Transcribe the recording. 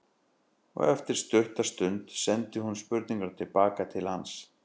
Og eftir stutta þögn sendi hún spurninguna til baka til hans.